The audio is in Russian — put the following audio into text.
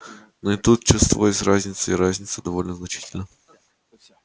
но и тут чувствовалась разница и разница довольно значительна